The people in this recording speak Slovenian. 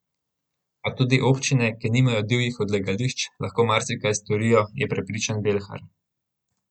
A tudi občine, ki nimajo divjih odlagališč, lahko marsikaj storijo, je prepričan Belhar.